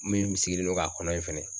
Min sigilen don k'a kɔnɔ in fana.